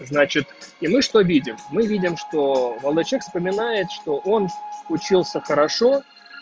значит и мы что видим мы видим что молодой человек вспоминает что он учился хорошо